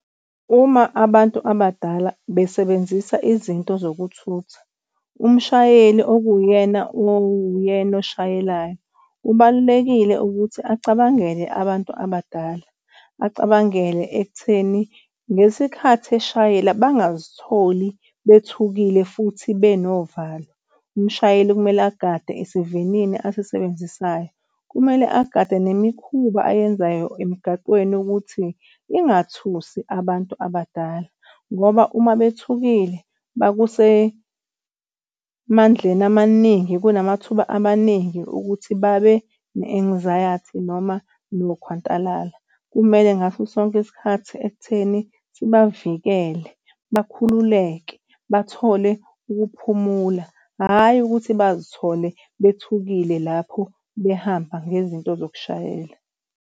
Uma abantu abadala besebenzisa izinto zokuthutha, umshayeli okuwuyena owuyena oshayelayo, kubalulekile ukuthi acabangele abantu abadala acabangele khona ekutheni ngesikhathi eshayela bangazitholi bethukile futhi benovalo. Umshayeli okumele agade esivinini asisebenzisayo. Kumele agade nemikhuba ayenzayo emgaqweni ukuthi ingathusi abantu abadala ngoba uma bethukile bakusemandleni amaningi kunamathuba amaningi ukuthi babe ne-anxiety noma nokukhwantalala. Kumele ngaso sonke isikhathi ekutheni sibavikele bakhululeke bathole ukuphumula, hhayi ukuthi bazithole bethukile lapho behamba ngezinto zokushayela.